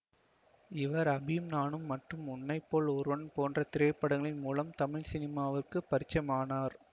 இவர் அபியும் நானும் மற்றும் உன்னை போல் ஒருவன் போன்ற திரைப்படங்களின் மூலம் தமிழ் சினிமாவுக்கு பரிச்சமானார்